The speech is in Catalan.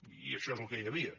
i això és el que hi havia